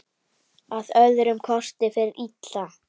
Að öðrum kosti fer illa.